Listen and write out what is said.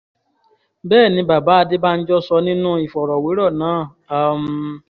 bẹ́ẹ̀ ni bàbá adébànjọ sọ nínú ìfọ̀rọ̀wérọ̀ náà um